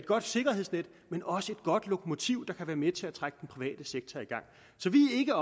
godt sikkerhedsnet men også et godt lokomotiv der kan være med til at trække den private sektor i gang så vi er ikke